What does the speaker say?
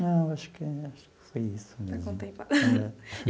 Não, acho que foi isso mesmo.